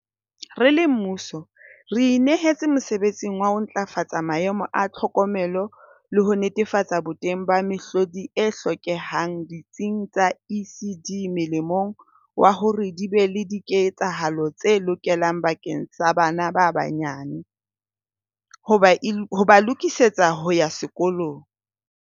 Re le mmuso re inehetse mosebetsing wa ho ntlafatsa maemo a tlhokomelo le ho netefatsa boteng ba mehlodi e hlokehang ditsing tsa ECD molemong wa hore di be le diketsahalo tse lokelang bakeng sa bana ba banye nyane, ho ba e ho ba lokisetsa ho ya sekolong.